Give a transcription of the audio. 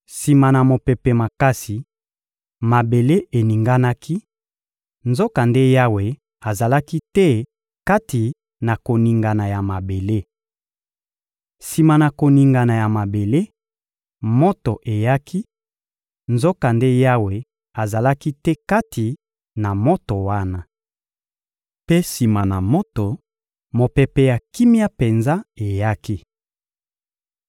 Sima na mopepe makasi, mabele eninganaki; nzokande Yawe azalaki te kati na koningana ya mabele. Sima na koningana ya mabele, moto eyaki; nzokande Yawe azalaki te kati na moto wana. Mpe sima na moto, mopepe ya kimia penza eyaki.